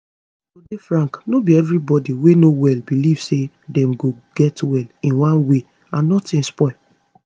to dey frank no be everybody wey no well belief say dem go get well in one way and notin spoil